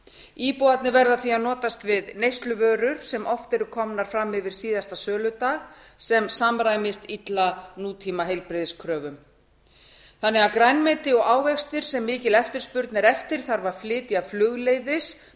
íbúarnir verða því að notast við neysluvörur sem oft eru komnar fram yfir síðasta söludag sem samræmist illa nútímaheilbrigðiskröfum grænmeti og ávexti sem mikil eftirspurn er eftir þarf að flytja inn flugleiðis